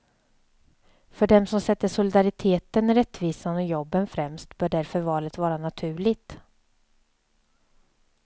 För dem som sätter solidariteten, rättvisan och jobben främst bör därför valet vara naturligt.